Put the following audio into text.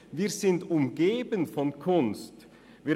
– Wir sind von Kunst umgeben.